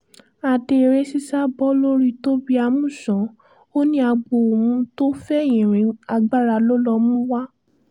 adé eré sísá bọ́ lórí tobi amusan ó ní agbo òun tó fẹ̀yìn rin agbára ló lọ mú wá